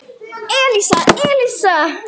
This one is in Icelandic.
Elísa, Elísa!